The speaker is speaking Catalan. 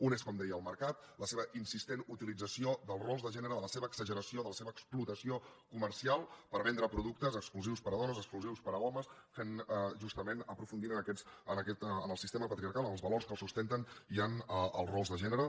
un és com deia el mercat la seva insistent utilització dels rols de gènere de la seva exageració de la seva explotació comercial per vendre productes exclusius per a dones exclusius per a homes justament aprofundint en el sistema patriarcal en els valors que el sustenten i en els rols de gènere